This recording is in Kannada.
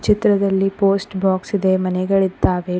ಚಿತ್ರದಲ್ಲಿ ಪೋಸ್ಟ್ ಬಾಕ್ಸ್ ಇದೆ ಮನೆಗಳಿದ್ದಾವೆ.